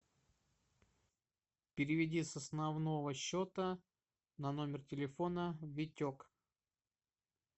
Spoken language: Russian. переведи с основного счета на номер телефона витек